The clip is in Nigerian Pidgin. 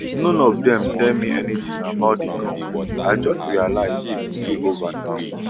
none of dem tell me anytin about di conflict i just realize say e dey over now